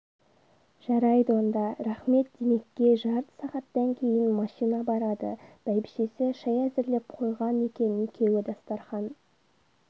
жарайды онда рахмет димеке жарты сағаттан кейін машина барады бәйбшесі шай әзірлеп қойған екен екеуі дастархан